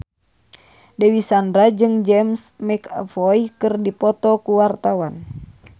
Dewi Sandra jeung James McAvoy keur dipoto ku wartawan